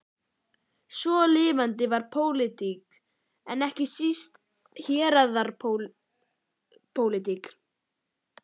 Svo lifandi var pólitík, en ekki síst héraðapólitík.